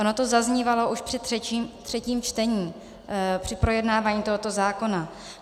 Ono to zaznívalo už při třetím čtení, při projednávání tohoto zákona.